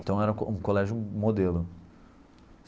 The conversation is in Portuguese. Então era um um colégio modelo.